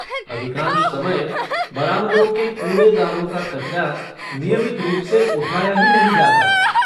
अधिकांश समय, बरामदों के कूड़ेदानों का कचरा, नियमित रूप से उठाया ही नहीं जाता।